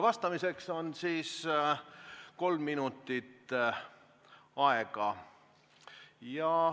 Vastamiseks on aega kolm minutit.